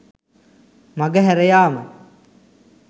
මඟ හැර යාම